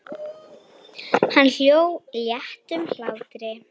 Hann hló léttum hlátri.